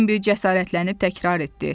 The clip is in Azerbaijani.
Bambi cəsarətlənib təkrar etdi: